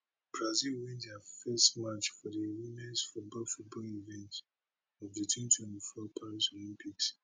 brazil win dia first match for di womens football football event of di twenty twenty four paris olympics